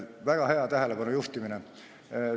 Väga hea tähelepanu juhtimine!